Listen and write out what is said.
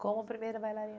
Como primeira bailarina?